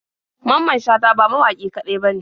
Mamman shata ba mawaƙi kaɗai bane.